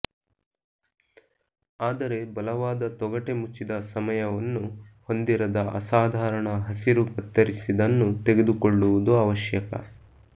ಆದರೆ ಬಲವಾದ ತೊಗಟೆ ಮುಚ್ಚಿದ ಸಮಯವನ್ನು ಹೊಂದಿರದ ಅಸಾಧಾರಣ ಹಸಿರು ಕತ್ತರಿಸಿದನ್ನು ತೆಗೆದುಕೊಳ್ಳುವುದು ಅವಶ್ಯಕ